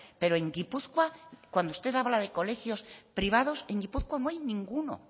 pero en gipuzkoa cuando usted habla de colegios privados en gipuzkoa no hay ninguno o